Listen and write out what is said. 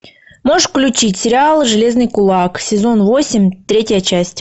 можешь включить сериал железный кулак сезон восемь третья часть